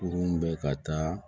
Kurun bɛ ka taa